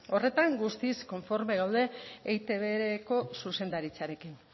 horretan guztiz konforme gaude eitbko zuzendaritzarekin